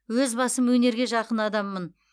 өз басым өнерге жақын адаммын